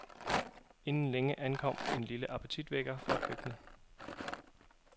Inden længe ankom en lille appetitvækker fra køkkenet.